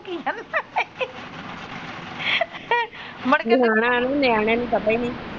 ਮੁੜਕੇ ਨਿਆਣਾ ਨਿਆਣੇ ਨੂੰ ਪਤਾ ਈ ਨੀ।